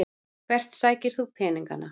Hvert sækir þú peningana?